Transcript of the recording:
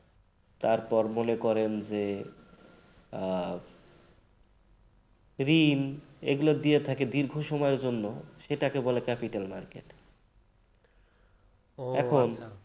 তারপর মনে করেন যে আহ ঋণ এগুলা দিকে থাকে দীর্ঘ সময়ের জন্য সেটাকে বলে capital market ও আচ্ছা। এখন